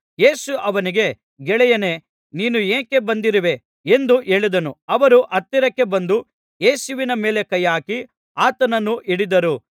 ಯೇಸು ಅವನಿಗೆ ಗೆಳೆಯನೇ ನೀನು ಯಾಕೆ ಬಂದಿರುವೇ ಎಂದು ಹೇಳಿದನು ಅವರು ಹತ್ತಿರಕ್ಕೆ ಬಂದು ಯೇಸುವಿನ ಮೇಲೆ ಕೈಹಾಕಿ ಆತನನ್ನು ಹಿಡಿದರು